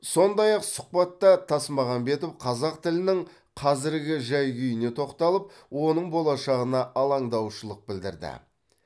сондай ақ сұхбатта тасмағамбетов қазақ тілінің қазіргі жай күйіне тоқталып оның болашағына алаңдаушылық білдірді